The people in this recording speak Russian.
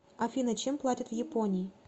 афина чем платят в японии